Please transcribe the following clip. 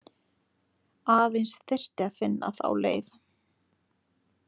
Aðeins þyrfti að finna þá leið.